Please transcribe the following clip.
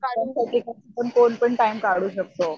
कोणपण टाइम काढू शकतं.